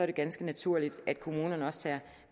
det ganske naturligt at kommunerne også tager